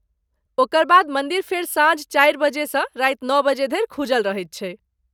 ओकर बाद, मन्दिर फेर साँझ चारि बजेसँ राति नओ बजे धरि खूजल रहैत छैक ।